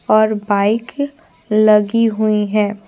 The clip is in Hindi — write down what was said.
और बाइक लगी हुई है।